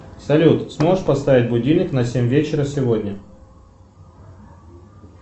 салют сможешь поставить будильник на семь вечера сегодня